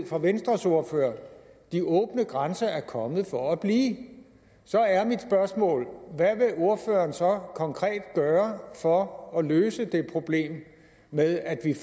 fra venstres ordfører de åbne grænser er kommet for at blive så er mit spørgsmål hvad vil ordføreren så konkret gøre for at løse det problem med at vi